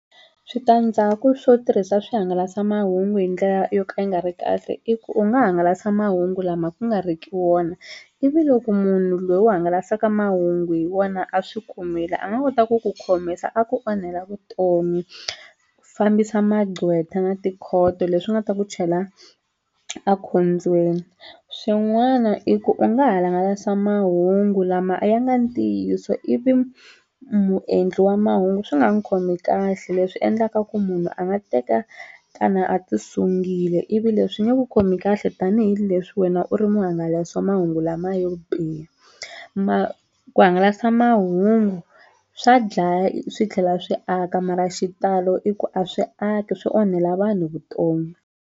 Switandzhaku swo tirhisa swihangalasamahungu hi ndlela yo ka yi nga ri kahle i ku u nga hangalasa mahungu lama ku nga riki wona ivi loko munhu loyi u hangalasaka mahungu hi wona a swi kumile a nga kota ku ku khomisa a ku onhela vutomi fambisa magqwetha na tikhoto leswi nga ta ku chela ekhombyeni swin'wana i ku u nga ha hangalasa mahungu lama a ya nga ntiyiso ivi muendli wa mahungu swi nga n'wi khomi kahle leswi endlaka ku munhu a nga teka a ti sungile ivi leswi nge ku khomi kahle tanihileswi wena u ri muhangalasi wa mahungu lama yo biha ku hangalasa mahungu swa dlaya swi tlhela swi aka mara xitalo i ku a swi aki swi onhela vanhu vutomi.